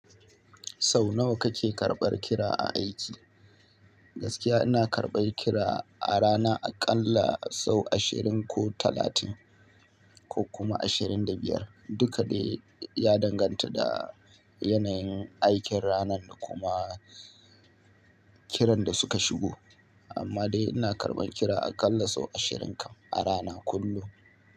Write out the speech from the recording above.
Sau nawa kake karɓar kira a aiki? Gaskiya ina karɓar kira a rana a ƙalla sau ashirin ko talatin ko kuma ashirin da biyar. Duka dai ya danganta da yanayin aikin ranar da kuma kiran da suka shigo. Amma dai ina karɓan kira a ƙalla sau ashirin kam a rana kullum.